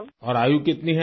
اور آپ کی عمر کتنی ہے؟